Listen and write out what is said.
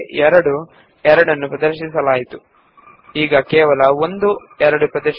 ಮೊದಲು ಎರಡು 2 ಗಳು ಇದ್ದವು ಈಗ ಒಂದೇ 2 ಇದೆ